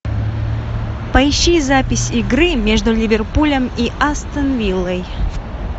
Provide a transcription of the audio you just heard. поищи запись игры между ливерпулем и астон виллой